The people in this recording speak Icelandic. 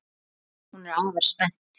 Hún er afar spennt.